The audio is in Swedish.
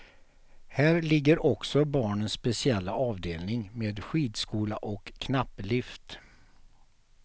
Här ligger också barnens speciella avdelning med skidskola och knapplift.